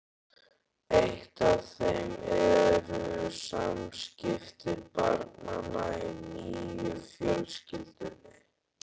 Eitt af þeim eru samskipti barnanna í nýju fjölskyldunni.